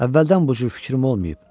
Əvvəldən bu cür fikrim olmayıb.